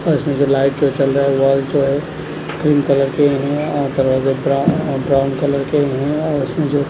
और इसमें जो लाइट शो चल रहा है वॉल जो है क्रीम कलर के हैं और दरवाज़े ब्राउ अ ब्राउन कलर के हैं और इसमें जो--